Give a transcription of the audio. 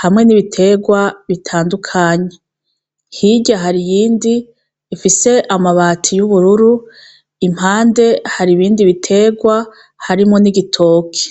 hamwe n' ibiterwa bitandukanye. Hirya hari iyindi, ifise amabati y' ubururu, impande hari ibindi biterwa harimwo n' igitoki.